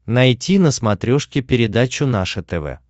найти на смотрешке передачу наше тв